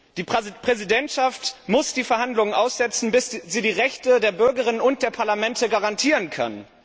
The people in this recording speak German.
Die Präsidentschaft muss die Verhandlungen aussetzen, bis sie die Rechte der BürgerInnen und der Parlamente garantieren kann.